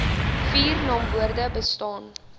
vier naamwoorde bestaan